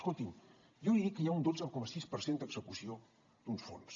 escolti’m jo he dit que hi ha un dotze coma sis per cent d’execució d’uns fons